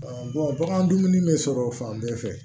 bagan dumuni bɛ sɔrɔ fan bɛɛ fɛ